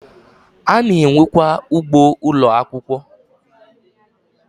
Ana enwe kwa ugboo Ụlọ akwụkwọ